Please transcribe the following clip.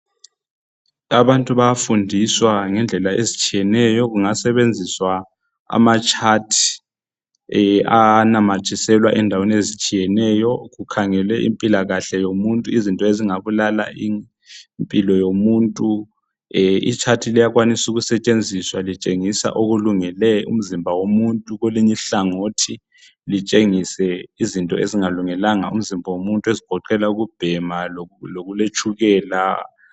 Abantu bayafundiswa ngendlela ezitshiyeneyo kungasebenziswa amatshathi anamathiselwa endaweni ezitshiyeneyo kukhangelwe impilakahle yomuntu izinto ezingabulala impilo yomuntu. Itshathi liyakwanisa ukusetshenziswa litshengisa okulungele umzimba womuntu kwelinye ihlangothi litshengise izinto ezingalungelanga umzimba womuntu ezigoqela ukubhema lokuletshukela.